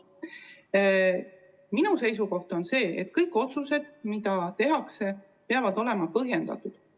Minu seisukoht on see, et kõik otsused, mis tehakse, peavad olema põhjendatud.